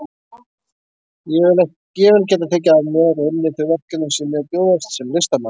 Ég vil geta tekið að mér og unnið þau verkefni sem mér bjóðast sem listamanni.